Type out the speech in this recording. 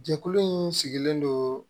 Jɛkulu in sigilen don